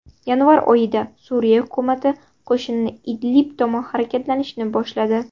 Yanvar oyida Suriya hukumati qo‘shini Idlib tomon harakatlanishni boshladi .